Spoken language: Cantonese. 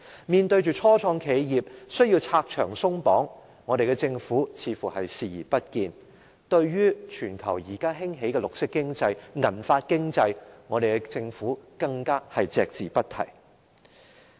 面對初創企業需要拆牆鬆綁，我們的政府卻始終視而不見，對於現時全球興起的綠色經濟、銀髮經濟，我們的政府更加是隻字不提。